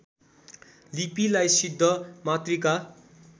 लिपिलाई सिद्धमातृका